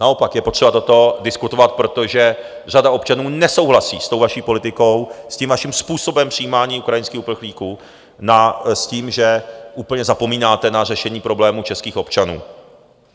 Naopak je potřeba toto diskutovat, protože řada občanů nesouhlasí s tou vaší politikou, s tím vaším způsobem přijímání ukrajinských uprchlíků, s tím, že úplně zapomínáte na řešení problémů českých občanů.